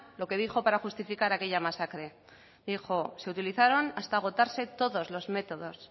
lo que dijo para justificar aquella masacre dijo se utilizaron hasta agostarse todos los métodos